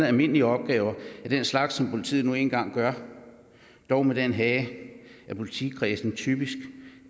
almindelige opgaver af den slags som politiet nu engang gør dog med den hage at politikredsen typisk